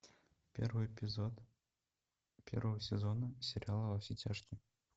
первый эпизод первого сезона сериала во все тяжкие